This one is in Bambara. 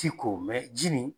ti ko ji nin